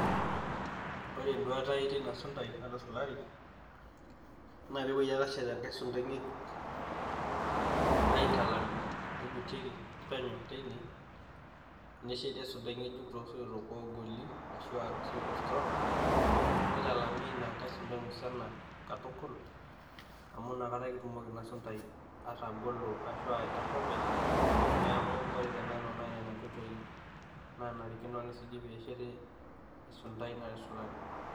Ore enduata ai teina sundai natusulari, naa peepuoi ake ashet enkai sundai ng'ejuk, aaitalam ina neig'utieki penyo teinee, nesheti esundai ng'ejuk tosoito oogoli ashu toosoito strong, neitailami ina kai sundai musana katukul amu ina kata ake ina sundai atagolo ashu aitasho openy. Neaku kore te nanu naa nena inkoitoi naanarikino peesheti esundai natusulari.